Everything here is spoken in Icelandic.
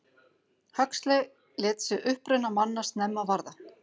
Huxley lét sig uppruna manna snemma varða.